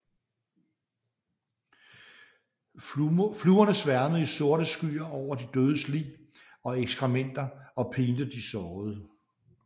Fluerne sværmede i sorte skyer over de dødes lig og ekskrementer og pinte de sårede